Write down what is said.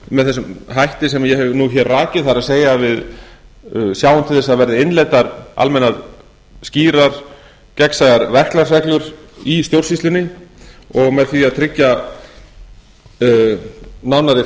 með þessum hætti sem ég hef nú rakið það er við sjáum til þess að það verði innleiddar almennar skýrar gegnsæjar verklagsreglur í stjórnsýslunni og með því að tryggja nánari